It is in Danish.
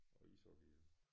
Og ishockeyhjelm